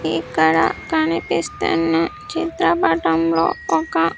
ఇక్కడ కనిపిస్తున్న చిత్రపటంలో ఒక.